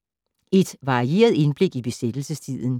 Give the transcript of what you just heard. Et varieret indblik i besættelsestiden